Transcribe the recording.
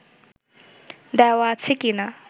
দেওয়া আছে কিনা